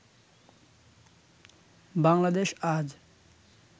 বাংলাদেশ আজ